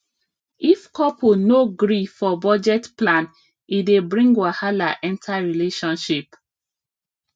if couple no gree for budget plan e dey bring wahala enter relationship